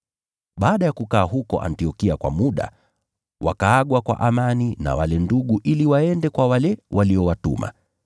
Baada ya kukaa huko Antiokia kwa muda, wakaagwa kwa amani na wale ndugu ili waende kwa wale waliowatuma. [